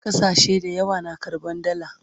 ƙasashe da yawa na karɓan dalla